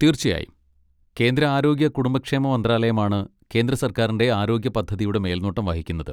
തീർച്ചയായും. കേന്ദ്ര ആരോഗ്യ കുടുംബക്ഷേമ മന്ത്രാലയമാണ് കേന്ദ്ര സർക്കാരിൻ്റെ ആരോഗ്യ പദ്ധതിയുടെ മേൽനോട്ടം വഹിക്കുന്നത്.